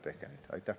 Tehke neid!